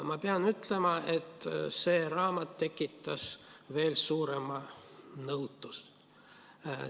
Ma pean ütlema, et see raamat tekitas veel suuremat nõutust.